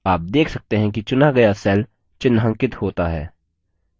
आप देख सकते हैं कि चुना गया cell चिन्हांकित होता है